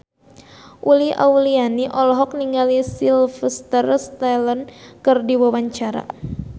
Uli Auliani olohok ningali Sylvester Stallone keur diwawancara